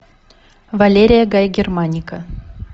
валерия гай германика